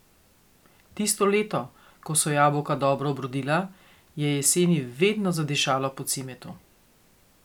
Tisto leto, ko so jabolka dobro obrodila, je jeseni vedno zadišalo po cimetu.